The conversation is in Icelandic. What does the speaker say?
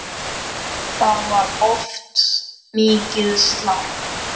Það var oft mikið slark.